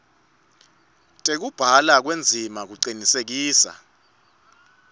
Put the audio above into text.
tekubhalwa kwendzima kucinisekisa